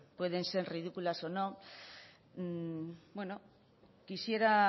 pueden ser ridículas o no bueno quisiera